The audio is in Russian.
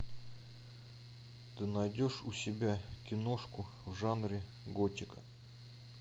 ты найдешь у себя киношку в жанре готика